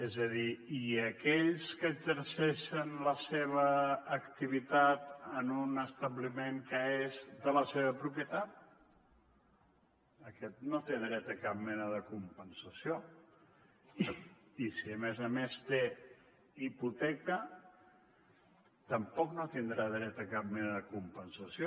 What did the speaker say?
és a dir i aquells que exerceixen la seva activitat en un establiment que és de la seva propietat aquest no té dret a cap mena de compensació i si a més a més té hipoteca tampoc no tindrà dret a cap mena de compensació